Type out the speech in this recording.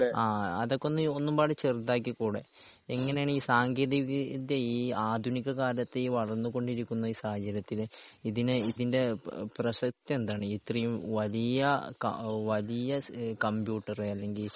ആഹ് അതൊക്കെ ഈ ഒന്നും പാടെ ചെറുതാക്കിക്കൂടെ എങ്ങനെയാണ് ഈ സാങ്കേന്തിക വിദ്യ ഈ ആധുനിക കാലത്ത് ഈ വളർന്നു കൊണ്ടിരിക്കുന്ന ഈസാഹചര്യത്തിൽ ഇതിനെ ഇതിന്റെ പ്രസക്തി എന്താണ്? ഇത്രയും വലിയ കാ വലിയ കമ്പ്യൂട്ടർ അല്ലെങ്കിൽ